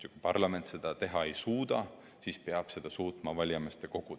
Kui parlament seda teha ei suuda, siis peab seda suutma valijameeste kogu.